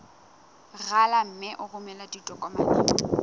rala mme o romele ditokomene